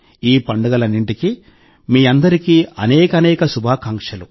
ఈ పండుగలన్నింటికి మీ అందరికీ అనేకానేక శుభాకాంక్షలు